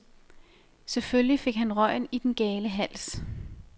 Selvfølgelig fik han røgen i den gale hals.